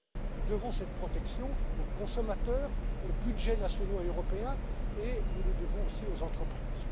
du monde. Nous devons cette protection aux consommateurs, aux budgets nationaux et européens, et nous la devons aussi aux entreprises.